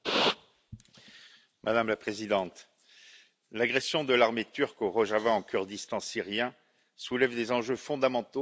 Madame la Présidente, l'agression de l'armée turque au Rojava ou Kurdistan syrien soulève des enjeux fondamentaux pour l'avenir de l'Europe.